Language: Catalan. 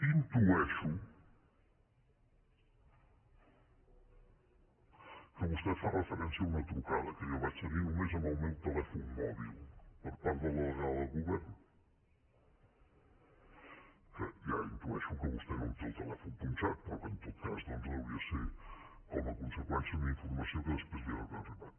intueixo que vostè fa referència a una trucada que jo vaig tenir només en el meu telèfon mòbil per part de la delegada del govern que ja intueixo que vostè no em té el telèfon punxat però que en tot cas deuria ser com a conseqüència d’una informació que després li deu haver arribat